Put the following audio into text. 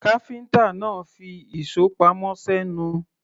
Káfíńtà náà fi ìṣó pamọ́ sẹ́nu.